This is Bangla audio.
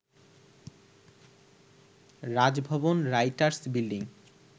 Raj Bhavan, writers building